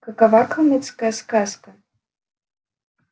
какова калмыцкая сказка